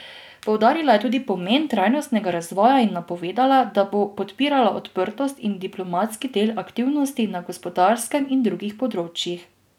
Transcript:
Poudarila je tudi pomen trajnostnega razvoja in napovedala, da bo podpirala odprtost in diplomatski del aktivnosti na gospodarskem in drugih področjih.